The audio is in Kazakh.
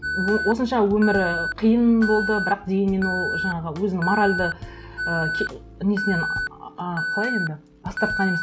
осынша өмірі қиын болды бірақ дегенмен ол жаңағы өзінің моральды і несінен ааа қалай енді бас тартқан емес